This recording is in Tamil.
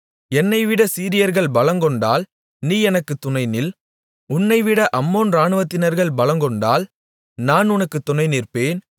என்னைவிட சீரியர்கள் பலங்கொண்டால் நீ எனக்குத் துணை நில் உன்னைவிட அம்மோன் இராணுவத்தினர்கள் பலங்கொண்டால் நான் உனக்குத் துணை நிற்பேன்